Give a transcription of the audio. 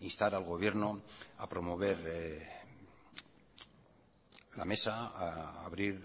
instar al gobierno a promover la mesa a abrir